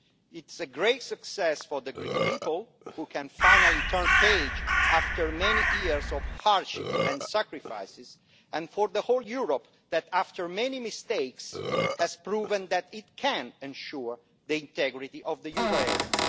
It is a great success for the Greek people, who can finally turn the page after many years of hardship and sacrifices, and for the whole of Europe, which, after many mistakes, has proved that it can ensure the integrity of the euro area.